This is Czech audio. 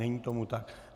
Není tomu tak.